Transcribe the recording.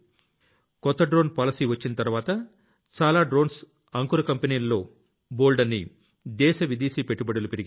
కొత్త drone policy వచ్చిన తర్వాత చాలా డ్రోన్స్ స్టార్టప్స్ లో బోల్డన్ని దేశీ విదేశీ పెట్టుబడులు పెరిగాయి